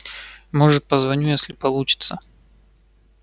может позвоню если получится